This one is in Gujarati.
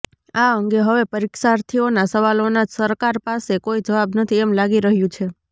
આ અંગે હવે પરીક્ષાર્થીઓના સવાલોના સરકાર પાસે કોઈ જવાબ નથી એમ લાગી રહ્યું છે